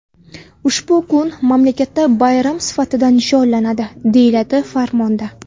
Ushbu kun mamlakatda bayram sifatida nishonlanadi, deyiladi farmonda.